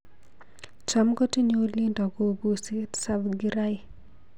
Cham kotinye uindo kobuusi Tsavingrai